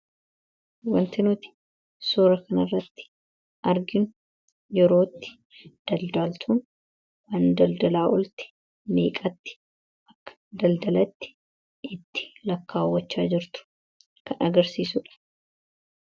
Wanti nuti suura kana irratti arginu yerootti daldaaltuun waan daldalaa oolte meeqaatti akka daldalatte itti lakkaawwachaa jirtu kan agarsiisuudha.